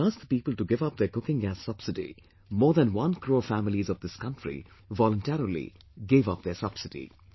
When I asked the people to give up their cooking gas subsidy, more than 1 crore families of this country voluntarily gave up their subsidy